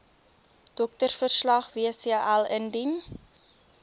doktersverslag wcl indien